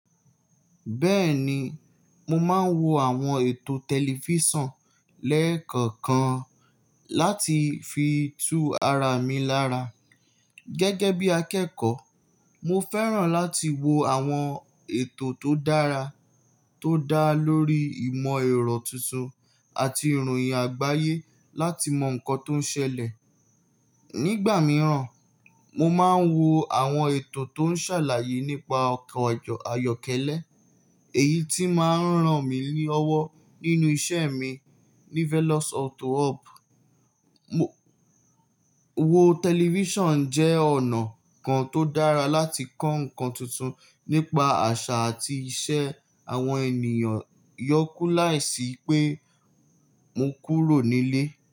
Bẹ́ẹ̀ni, mo máa ń wo àwọn ètò tẹlifísàn lẹ́ẹ̀kọ̀kan láti fi tú ara mi lára. Gẹ́gẹ́ bí akẹ́kọ̀ọ́, mo fẹ́ràn láti wo àwọn ètò tó dára tó dá lórí ìmọ̀-ẹ̀rọ tuntun àti ìròyìn àgbáyé láti mọ nǹkan tó ń ṣẹlẹ̀. Nígbà mìíràn, mo máa ń wo àwọn ètò tó ń ṣàlàyé nípa ọkọ̀ ayọ́kẹ́lẹ́, èyí tí máa ń ràn mí ní ọwọ́ nínú iṣẹ́ mi ní Velos Auto Hub. Wo tẹlifísàn jẹ́ ọ̀nà kan tó dára láti kọ́ nǹkan tuntun nípa àṣà àti iṣẹ́ àwọn ènìyàn, yọ kú láìsí pé mo kúrò nílé.